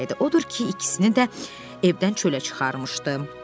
Odur ki, ikisini də evdən çölə çıxarmışdı.